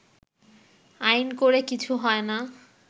“আইন করে কিছু হয়না